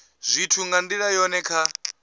zwithu nga ndila yone kha